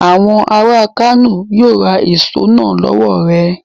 Àwọn ará Kano yíó ra èso náà lọ́wọ̀ rẹ..